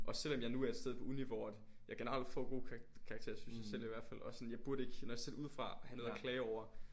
Og selvom jeg nu er et sted på uni hvor at jeg generelt får gode karakterer synes jeg selv i hvert fald og sådan jeg burde ikke når jeg ser det udefra have noget at klage over